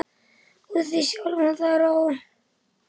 og þig sjálfan þar á.